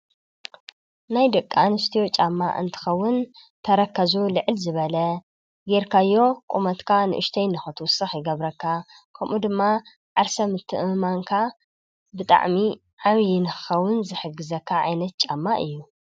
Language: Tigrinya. ናይ ደቂ አንስትዮ ጫማ እንትኸውን ተረከዝ ልዕል ዝበለ ጌርካዮ ቁመት ንእሽተን ንክትዉስኽ ይገብረካ ከምኡ ድማ ዓርሰ እምነትካ ብጣዕሚ ዓብዪ ንክኾን ዝሕግዝ ዓይነት ጫማ እዪ።